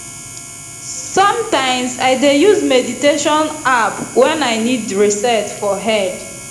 sometimes i dey use meditation app when i need reset for head